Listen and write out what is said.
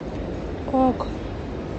ок